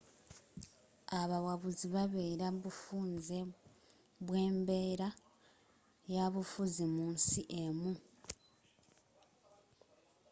abawabuzi babeera bufunze bwembeera yabufuzi mu nsi emu